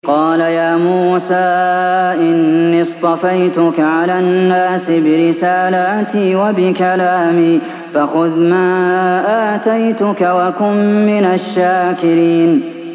قَالَ يَا مُوسَىٰ إِنِّي اصْطَفَيْتُكَ عَلَى النَّاسِ بِرِسَالَاتِي وَبِكَلَامِي فَخُذْ مَا آتَيْتُكَ وَكُن مِّنَ الشَّاكِرِينَ